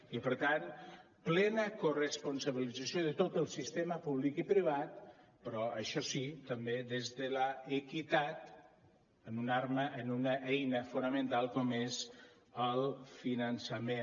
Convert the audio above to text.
i per tant plena corresponsabilització de tot el sistema públic i privat però això sí també des de l’equitat en una arma en una eina fonamental com és el finançament